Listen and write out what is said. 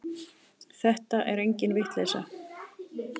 Þetta er engin vitleysa.